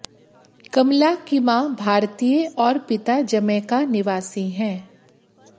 कमला की मां भारतीय और पिता जमैका निवासी है